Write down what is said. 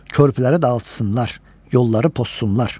Körpüləri dağıtsınlar, yolları pozsunlar.